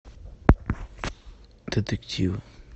детективы